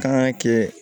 Kan ka kɛ